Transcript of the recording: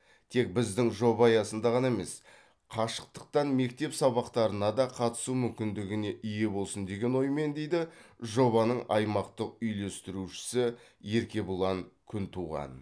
тек біздің жоба аясында ғана емес қашықтықтан мектеп сабақтарына да қатысу мүмкіндігіне ие болсын деген оймен дейді жобаның аймақтық үйлестірушісі еркебұлан күнтуған